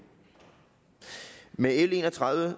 med l en og tredive